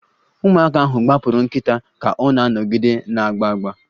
Ụmụaka ahụ gbapụrụ nkịta ka ọ na-anọgide na-agba agba